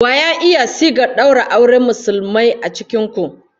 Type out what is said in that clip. Wa ya iya sigar daura auren Musulmai a cikin ku?